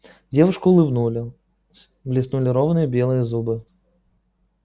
девушка улыбнулась блеснули ровные белые зубы